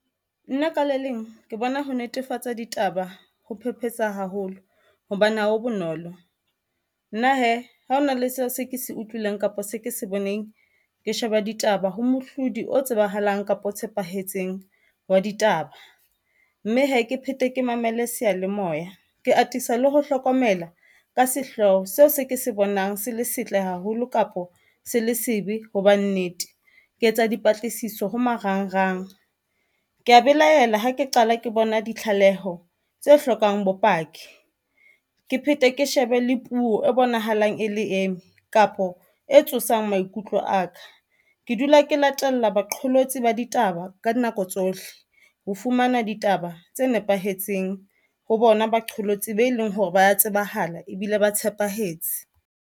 Nna ka le leng ke bona ho netefatsa ditaba ho phephetsa haholo hobane ha ho bonolo. Nna hee ha hona le seo se ke se utlwileng, kapa se ke se boneng. Ke sheba ditaba ho mohlodi o tsebahalang kapa o tshepahetseng wa ditaba mme hee ke phete ke mamele seyalemoya. Ke atisa le ho hlokomela ka sehloho seo se ke se bonang se le setle haholo kapa se le sebe hoba nnete ke etsa dipatlisiso ho marangrang.Ke ya belaela ha ke qala ke bona ditlaleho tse hlokang bopaki, ke phete ke shebe le puo e bonahalang e le eme kapo e tsosang maikutlo a ka ke dula ke latella baqholotsi ba ditaba ka dinako tsohle ho fumana ditaba tse nepahetseng ho bona baqholotsi be leng hore ba tsebahala ebile ba tshepahetse.